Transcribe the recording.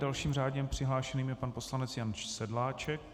Dalším řádně přihlášeným je pan poslanec Jan Sedláček.